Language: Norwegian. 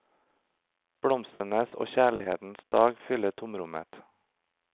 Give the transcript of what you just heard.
Blomstenes og kjærlighetens dag fyller tomrommet.